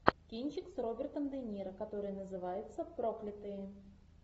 кинчик с робертом де ниро который называется проклятые